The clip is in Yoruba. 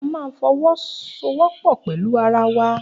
A máa fọwọ́ so wọ́pọ̀ pẹ̀lú ara wa